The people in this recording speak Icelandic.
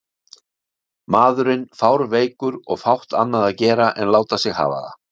Maðurinn fárveikur og fátt annað að gera en láta sig hafa það.